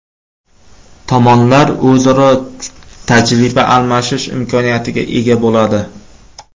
Tomonlar o‘zaro tajriba almashish imkoniyatiga ega bo‘ladi.